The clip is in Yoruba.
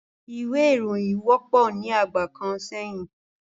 Ìwé ìròyìn wọ́pọ̀ ní ìgbà kan sẹ́yìn